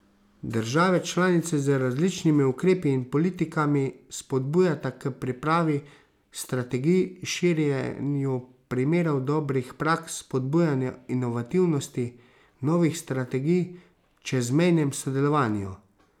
Države članice z različnimi ukrepi in politikami spodbujata k pripravi strategij, širjenju primerov dobrih praks, spodbujanju inovativnosti, novih strategij, čezmejnem sodelovanju.